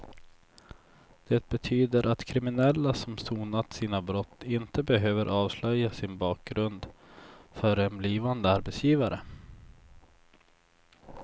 Det betyder att kriminella som sonat sina brott inte behöver avslöja sin bakgrund för en blivande arbetsgivare.